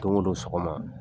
Don o don sɔgɔma